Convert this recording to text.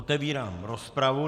Otevírám rozpravu.